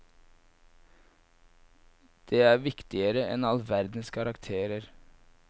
Det er viktigere enn all verdens karakterer.